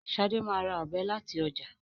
Shade má rà Ọ̀bẹ láti ọjà.